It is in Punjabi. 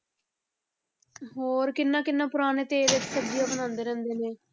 ਹੋਰ ਕਿੰਨਾ ਕਿੰਨਾ ਪੁਰਾਣੇ ਤੇਲ ਵਿਚ ਸਬਜ਼ੀਆਂ ਬਣਾਉਂਦੇ ਰਹਿੰਦੇ ਨੇ।